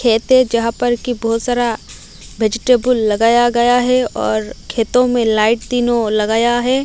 खेते जहां पर की बहुत सारा व्हेजिटेबल लगाया गया हैं और खेतों में लाईट तीनो लगाया हैं।